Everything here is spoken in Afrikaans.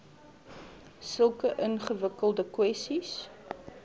sulke ingewikkelde kwessies